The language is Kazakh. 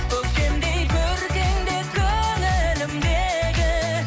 көктемдей көркіңде көңілімдегі